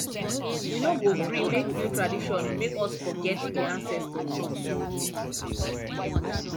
we no go gree make new tradition make us forget we ancestors